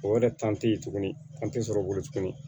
O yɛrɛ tɛ ye tuguni an tɛ sɔrɔ o bolo tuguni